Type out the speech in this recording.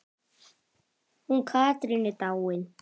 Hún Katrín er dáin.